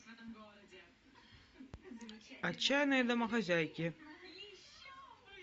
отчаянные домохозяйки